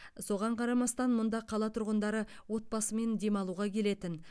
соған қарамастан мұнда қала тұрғындары отбасымен демалуға келетін